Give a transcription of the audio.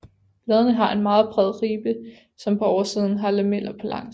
Bladene har en meget bred ribbe som på oversiden har lameller på langs